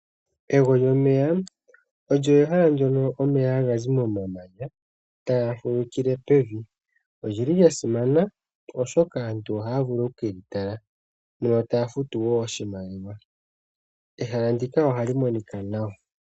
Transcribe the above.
Ego lyomeya olyo ehala ndyono omeya haga zi momamanya taga fulukile pevi. Olyi li lya simana, oshoka aantu ohaya vulu oku ke li tala yo taya futu wo oshimaliwa. Ehala ndika ohali monikwa nawa.